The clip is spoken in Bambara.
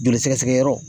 Joli sɛgɛsɛgɛ yɔrɔ